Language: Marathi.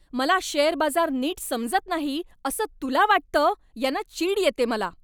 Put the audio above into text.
मला शेअर बाजार नीट समजत नाही असं तुला वाटतं यानं चीड येते मला.